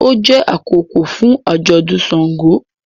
O jẹ akókò fún ajọdún ṣàngó